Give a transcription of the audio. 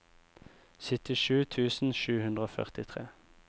syttisju tusen sju hundre og førtitre